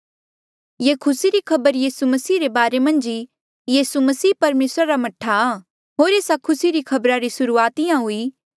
ये खुसी री खबर यीसू मसीहा रे बारे मन्झ ई यीसू मसीह परमेसरा रा मह्ठा आ होर एस्सा खुसी री खबरा री सुर्हूआत इंहां हुई